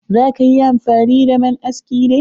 Za ka yi amfani da man askin ne?